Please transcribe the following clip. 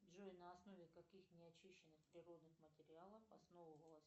джой на основе каких неочищенных природных материалов основывалось